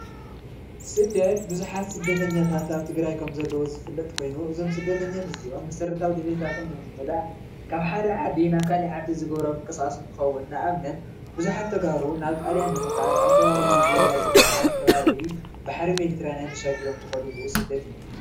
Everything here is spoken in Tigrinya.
ስደት ቡዙሓት ስደተኛታታት ኣብ ትግራይ ከም ዘለው ዝፍለጡ ኾዮኖም እዞም ሰደተኛታታት እዚኦም መሠረታዋ ድልየታቶሞ ንምምላእ ኻብ ሓደ ዓዲ ናብ ኻሊእ ይኸዲ ንነአብነት ቡዙሓት ተጋሩ ናብ ጣልያን ንምካድ ኣብ ከንባቢ ሊብያ ዝበሃል ከባቢ ባሕሪ ሜዲትርያን ብምሽጋር ዝከድሉ ስደት እዩ።